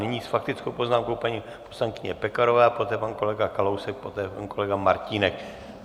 Nyní s faktickou poznámkou paní poslankyně Pekarová, poté pan kolega Kalousek, poté pan kolega Martínek.